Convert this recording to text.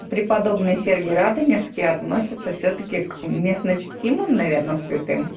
преподобный сергий радонежский относятся всё-таки к местночтимым наверное святым